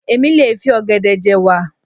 Èmi lè fi ọ̀gẹ̀dẹ̀ je'wà.